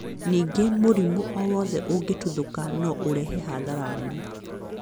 Ningĩ mũrimũ o wothe ũngĩtuthũka no ũrehe hathara nene mũno.